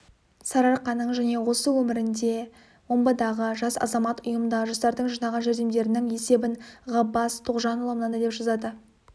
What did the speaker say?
сарыарқаның және осы нөмірінде омбыдағы жас азамат ұйымындағы жастардың жинаған жәрдемдерінің есебін ғаббас тоғжанұлы мынандай деп жазады